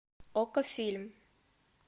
окко фильм